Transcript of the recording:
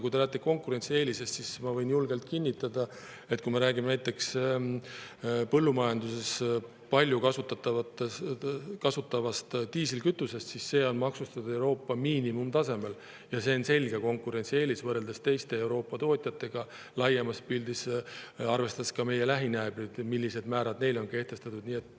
Kui te räägite konkurentsieelisest, siis ma võin julgelt kinnitada, et näiteks põllumajanduses palju kasutatav diislikütus on meil maksustatud Euroopa miinimumtasemel, ja see on selge konkurentsieelis võrreldes teiste Euroopa tootjatega laiemas pildis, vaadates ka meie lähinaabreid ja seda, millised määrad neil on kehtestatud.